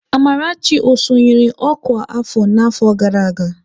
Amarachi sonyere ọkwá afọ n'afọ gara aga?